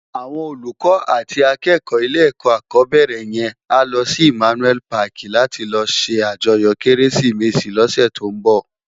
Áwòn ólúkò àti ákèkò ilé èkò ákòbèrè yèn á lò si Immanuel pàki làti lò sé àjòyò Kérésimési lòsè tó n bò